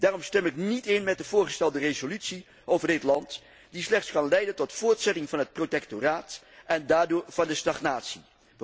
Daarom stem ik niet in met de voorgestelde resolutie over dit land, die slechts kan leiden tot de voortzetting van het protectoraat en daardoor van de stagnatie.